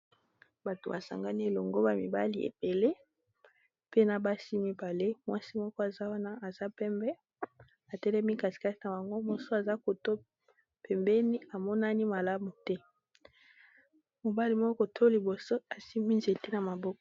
Bato basangani elongo ba mibali ebele pena basi mibale mwasi moko aza wana aza pembe atelemi casikate na bango moso aza koto pembeni amonani malamu te mobali moko to liboso asimi nzete na maboko.